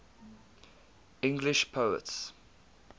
english poets